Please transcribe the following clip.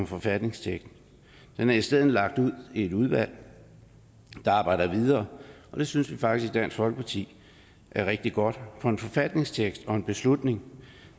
forfatningstekst den er i stedet lagt ud i et udvalg der arbejder videre det synes vi faktisk i dansk folkeparti er rigtig godt for en forfatningstekst og en beslutning